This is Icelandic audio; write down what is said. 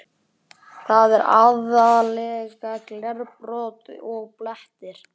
Þetta er aðallega glerbrot og blettir.